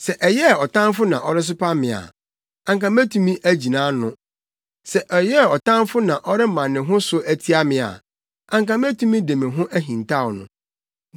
Sɛ ɛyɛɛ ɔtamfo na ɔresopa me a, anka metumi agyina ano; sɛ ɛyɛɛ ɔtamfo na ɔrema ne ho so atia me a, anka metumi de me ho ahintaw no.